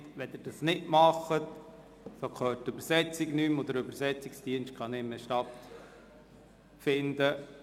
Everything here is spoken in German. Wenn Sie dies nicht befolgen, hören die Dolmetscherinnen nichts mehr, und der Übersetzungsdienst kann nicht mehr arbeiten.